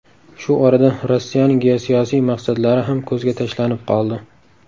Shu orada Rossiyaning geosiyosiy maqsadlari ham ko‘zga tashlanib qoldi.